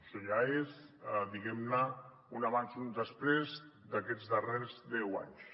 això ja és diguem·ne un abans i un després d’aquests darrers deu anys